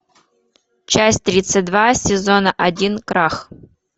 часть тридцать два сезона один крах